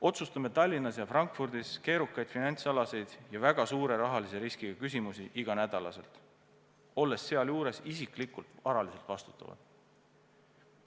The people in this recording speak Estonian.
Otsustame Tallinnas ja Frankfurdis keerukaid finantsalaseid ja väga suure rahalise riskiga küsimusi igal nädalal, olles sealjuures isiklikult varaliselt vastutavad.